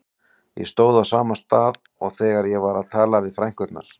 Ég stóð á sama stað og þegar ég var að tala við frænkurnar.